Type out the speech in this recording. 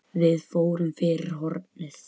Við fórum fyrir hornið.